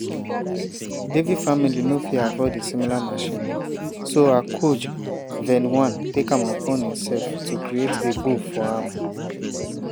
devi family no fit afford a similar machine so her coach vedwan take am upons imsef to create a bow for am.